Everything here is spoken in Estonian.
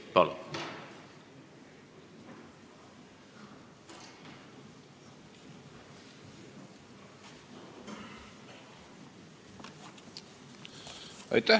Palun!